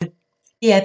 DR P1